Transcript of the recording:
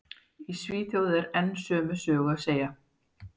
Í Svíþjóð er enn sömu sögu að segja.